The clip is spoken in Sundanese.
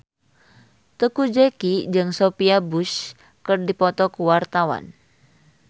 Teuku Zacky jeung Sophia Bush keur dipoto ku wartawan